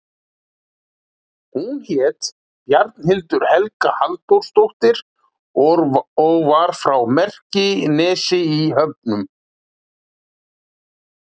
Hún hét Bjarnhildur Helga Halldórsdóttir og var frá Merkinesi í Höfnum.